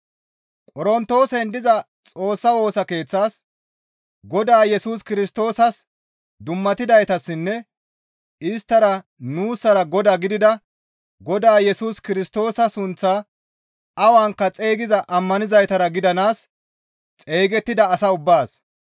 Qorontoosen diza Xoossa Woosa Keeththaas, Godaa Yesus Kirstoosas dummatidaytassinne isttassara nuussara Godaa gidida Godaa Yesus Kirstoosa sunththaa awanka xeygiza ammanizaytara gidanaas xeygettida asa ubbaas,